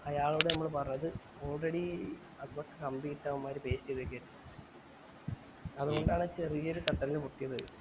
അയാളോട് നമ്മൾ പറഞ്ഞത് already കമ്പി ഇട്ട അവന്മാര് തേചെയ്തേക്കു ആയിരുന്നു അതോണ്ടാണ് ചെറിയ തട്ടൽന് പോട്ടി പോയെ